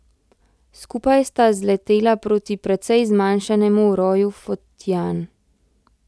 Skupaj sta zletela proti precej zmanjšanemu roju fotian.